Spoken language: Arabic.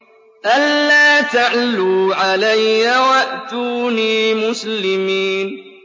أَلَّا تَعْلُوا عَلَيَّ وَأْتُونِي مُسْلِمِينَ